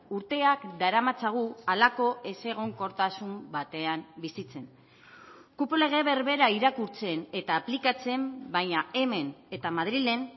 urteak daramatzagu halako ezegonkortasun batean bizitzen kupo lege berbera irakurtzen eta aplikatzen baina hemen eta madrilen